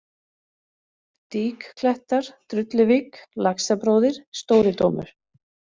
Dýklettar, Drulluvík, Laxabróðir, Stóridómur